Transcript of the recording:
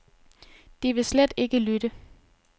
De vil slet ikke lytte.